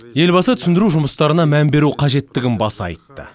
елбасы түсіндіру жұмыстарына мән беру қажеттігін баса айтты